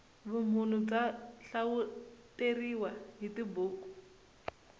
vumunhu bya hlawuteriwa hi tibuku